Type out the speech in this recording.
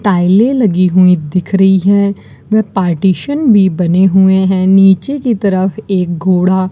टाइलें लगी हुई दिख रही हैं व पार्टीशन भी बने हुए हैं नीचे की तरफ एक घोड़ा --